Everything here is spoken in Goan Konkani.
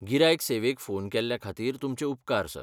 गिरायक सेवेक फोन केल्ल्या खातीर तुमचे उपकार, सर.